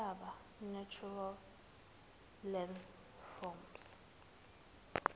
zemihlaba natural landforms